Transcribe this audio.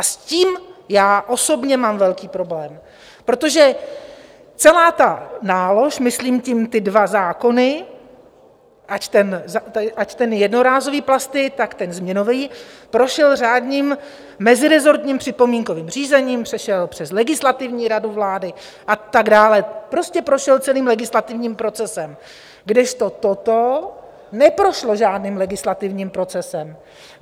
A s tím já osobně mám velký problém, protože celá ta nálož, myslím tím ty dva zákony, ať ten jednorázové plasty, tak ten změnový, prošel řádným meziresortním připomínkovým řízením, přešel přes Legislativní radu vlády a tak dále, prostě prošel celým legislativním procesem, kdežto toto neprošlo žádným legislativním procesem.